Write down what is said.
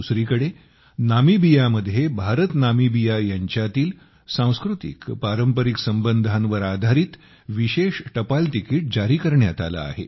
दुसरीकडे नामिबियामध्ये भारतनामिबिया यांच्यातील सांस्कृतिकपारंपारिक संबंधांवर आधारित विशेष टपाल तिकीट जारी करण्यात आले आहे